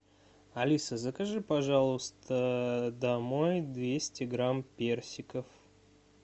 алиса закажи пожалуйста домой двести грамм персиков